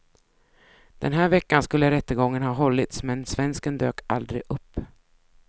Den här veckan skulle rättegången ha hållits men svensken dök aldrig upp.